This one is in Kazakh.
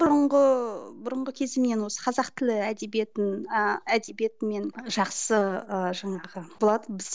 бұрынғы бұрынғы кезімнен осы қазақ тілі әдебиетін ыыы әдебиетімен жақсы ыыы жаңағы болатынбыз